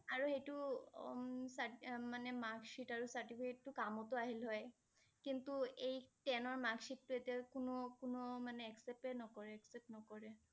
আৰু সেইটো উম ~তাত~মানে marksheet আৰু certificate টো কামতো আহিলে হয়, কিন্তু এই ten ৰ marksheet টো এতিয়া কোনো~কোনো মানে accept এ নকৰে accept নকৰে